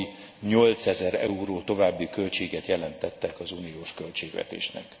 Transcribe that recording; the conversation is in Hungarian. havi 8 ezer euró további költséget jelentettek az uniós költségvetésnek.